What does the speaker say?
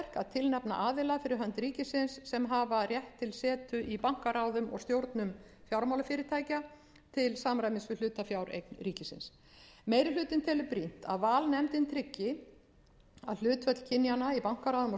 tilnefna aðila fyrir hönd ríkisins sem hafa rétt til setu í bankaráðum og eða stjórnum fjármálafyrirtækja til samræmis við hlutafjáreign ríkisins meiri hlutinn telur brýnt að valnefndin tryggi að hlutföll kynjanna í bankaráðum og